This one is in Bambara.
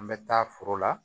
An bɛ taa foro la